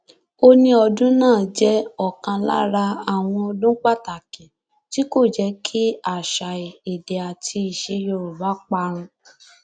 ó ní ọdún náà jẹ ọkan lára àwọn ọdún pàtàkì tí kò jẹ kí àṣà èdè àti iṣẹ yorùbá parun